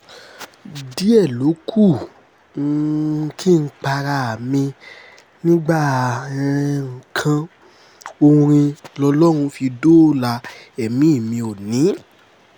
díẹ̀ ló kù um kí n para mi nígbà um kan orin lọlọ́run fi dóòlà ẹ̀mí mi òónì